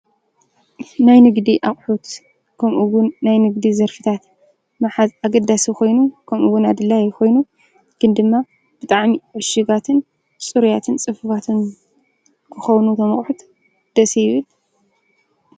ናይ ንግዲ ኣቑሑት ከምኡዉን ናይ ንግዲ ዘርፍታት ምሓዝ ኣግዳሲ ኮይኑ ከምኡዉን ኣድላይ ኮይኑ ግን ድማ ብጣዕሚ ዕሹጋትን ፅሩያትን ፅፉፋትን ክኾኑ ከለዉ ኣቑሑት ደስ ይብል።